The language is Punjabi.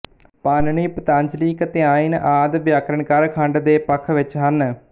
ਪਾਣਿਨੀ ਪਤੰਜਲੀ ਕਾਤਿਆਇਨ ਆਦਿ ਵਿਆਕਰਨਕਾਰ ਖੰਡ ਦੇ ਪੱਖ ਵਿੱਚ ਹਨ